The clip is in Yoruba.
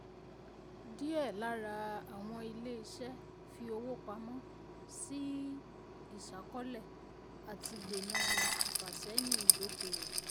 díẹ̀ lára àwọn ilé iṣẹ́ fi owó pamó sí isakọ́lẹ̀ láti dènà ìfàsẹ́yìn ìdókòwò.